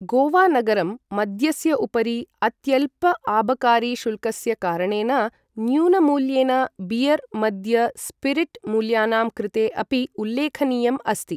गोवा नगरं मद्यस्य उपरि अत्यल्प आबकारी शुल्कस्य कारणेन न्यूनमूल्येन बीयर मद्य स्पिरिट् मूल्यानां कृते अपि उल्लेखनीयम् अस्ति ।